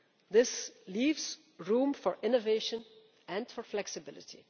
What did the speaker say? This leaves room for innovation and for flexibility.